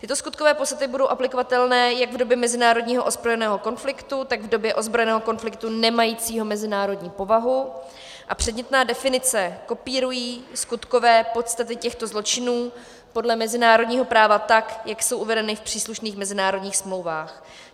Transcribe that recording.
Tyto skutkové podstaty budou aplikovatelné jak v době mezinárodního ozbrojeného konfliktu, tak v době ozbrojeného konfliktu nemajícího mezinárodní povahu, a předmětné definice kopírují skutkové podstaty těchto zločinů podle mezinárodního práva, tak jak jsou uvedeny v příslušných mezinárodních smlouvách.